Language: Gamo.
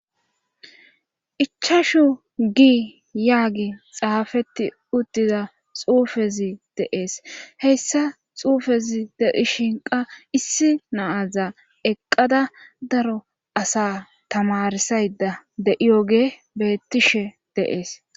ichashu gi yaagi xaafetti uddiza xuufezi de'es heyssa xuufezi deishinqa issi naaza eqqada daro asa tamarsayda de7iyoge beettishe de'es